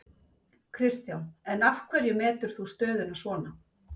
Kristján: En af hverju metur þú stöðuna svona?